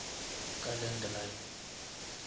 ka landline